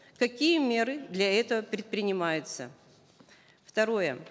какие меры для этого предпринимаются второе